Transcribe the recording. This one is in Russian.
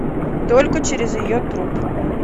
только через ее труп